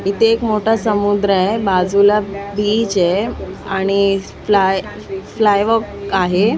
इथे एक मोठा समुद्र आहे बाजूला बीच ए आणि स प्लाय आहे .